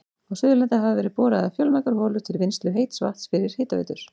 Á Suðurlandi hafa verið boraðar fjölmargar holur til vinnslu heits vatns fyrir hitaveitur.